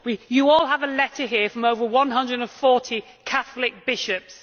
You all have a letter here from over 140 Catholic bishops